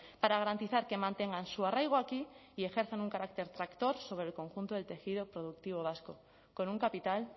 para garantizar que mantengan su arraigo aquí y ejerzan un carácter tractor sobre el conjunto del tejido productivo vasco con un capital